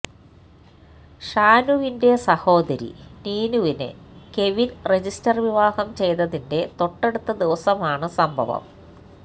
ഷാനുവിന്റെ സഹോദരി നീനുവിനെ കെവിന് രജിസ്റ്റര് വിവാഹം ചെയ്തതിന്റ തൊട്ടടുത്ത ദിവസമാണ് സംഭവം